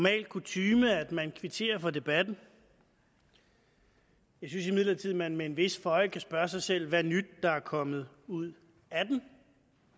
er jo kutyme at man kvitterer for debatten jeg synes imidlertid at man med en vis føje kan spørge sig selv hvad nyt der er kommet ud af den